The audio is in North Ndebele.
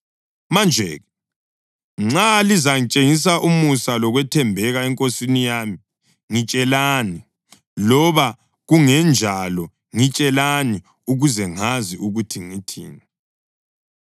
Manje-ke nxa lizatshengisa umusa lokwethembeka enkosini yami, ngitshelani; loba kungenjalo, ngitshelani ukuze ngazi ukuthi ngithini.”